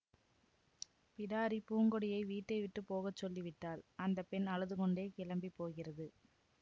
பிடாரி பூங்கொடியை வீட்டை விட்டு போக சொல்லிவிட்டாள் அந்த பெண் அழுதுகொண்டே கிளம்பி போகிறது